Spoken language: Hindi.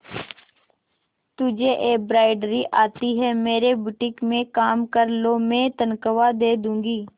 तुझे एंब्रॉयडरी आती है मेरे बुटीक में काम कर लो मैं तनख्वाह दे दूंगी